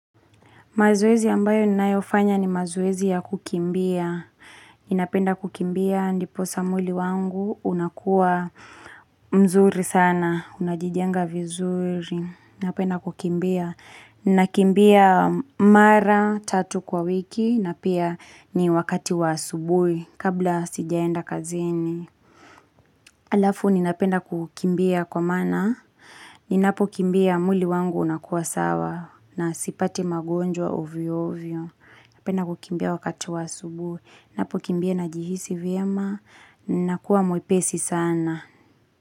Mazoezi ambayo ninayofanya ni mazoezi ya kukimbia. Ninapenda kukimbia, ndiposa mwili wangu unakuwa mzuri sana, unajijenga vizuri. Ninapenda kukimbia. Ninakimbia mara tatu kwa wiki, na pia ni wakati wa asubuhi, kabla sijaenda kazini. Halafu, ninapenda kukimbia kwa maana ninapokimbia mwili wangu unakuwa sawa, na sipati magonjwa ovyo ovyo. Napenda kukimbia wakati wa asubuhi. Ninapokimbia najihisi vyema ninakuwa mwepesi sana.